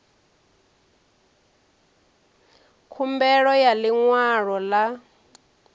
khumbelo ya ḽi ṅwalo ḽa